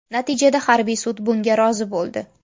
Natijada harbiy sud bunga rozi bo‘ldi.